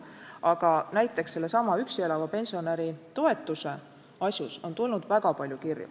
Aga näiteks sellesama üksi elava pensionäri toetuse asjus on tulnud väga palju kirju.